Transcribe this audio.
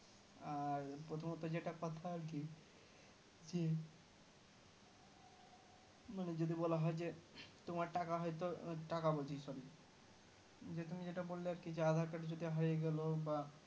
আর প্রথমত যেটা কথা আর কি জি যদি বলা হয় যে তোমার টাকা হয়তো টাকা বলছি sorry যে তুমি যেটা বললে আর কি aadhar card যদি হারিয়ে গেল বা